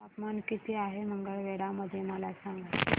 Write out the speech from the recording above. तापमान किती आहे मंगळवेढा मध्ये मला सांगा